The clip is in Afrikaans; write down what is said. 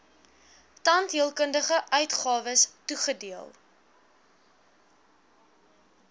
tandheelkundige uitgawes toegedeel